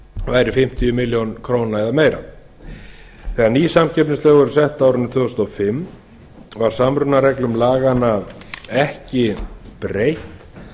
væri fimmtíu milljónir króna eða meira þegar ný samkeppnislög voru sett á árinu tvö þúsund og fimm var samrunareglum laganna ekki breytt